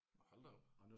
Hold da op